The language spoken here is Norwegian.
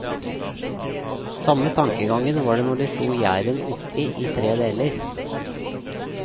Samme tankegangen var det når de slo gjæren oppi i tre deler.